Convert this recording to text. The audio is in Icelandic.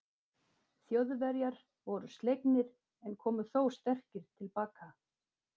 Þjóðverjar voru slegnir, en komu þó sterkir til baka.